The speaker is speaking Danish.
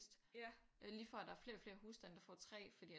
Det er lige før at der er flere og flere hustande der får 3 fordi at